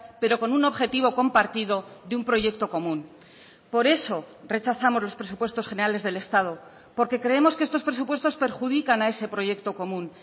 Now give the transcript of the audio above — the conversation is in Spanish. pero con un objetivo compartido de un proyecto común por eso rechazamos los presupuestos generales del estado porque creemos que estos presupuestos perjudican a ese proyecto común